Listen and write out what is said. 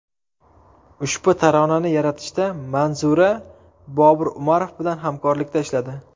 Ushbu taronani yaratishda Manzura Bobur Umarov bilan hamkorlikda ishladi.